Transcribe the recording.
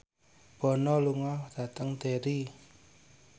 Bono lunga dhateng Derry